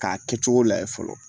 K'a kɛcogo layɛ fɔlɔ